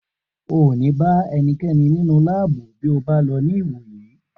O ò ní bá ẹni kankan nínú láàbù bí ó bá lọ ní ìwò yìí